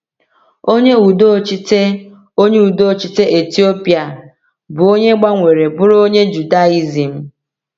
Onye udochite Onye udochite Etiopịa bụ onye gbanwere bụrụ onye Judaizim.